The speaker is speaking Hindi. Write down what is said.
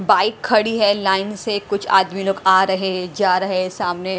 बाइक खड़ी है लाइन से कुछ आदमी लोग आ रहे हैं जा रहे हैं सामने--